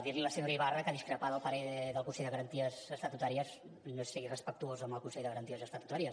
dir li a la senyora ibarra que discrepar del parer del consell de garanties estatutàries no és ser irrespectuós amb el consell de garanties estatutàries